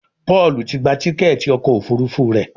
Paul tí gbà Tíkẹ́ẹ̀tì ọkọ̀ òfurufú rẹ.